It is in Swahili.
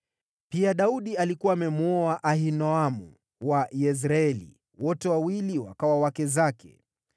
Pia Daudi alikuwa amemwoa Ahinoamu wa Yezreeli, wote wawili wakawa wake zake.